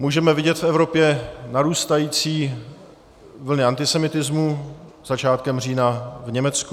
Můžeme vidět v Evropě narůstající vlny antisemitismu, začátkem října v Německu.